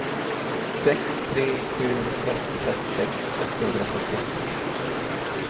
sex tre sju ett femtiosex åttahundrafemtioåtta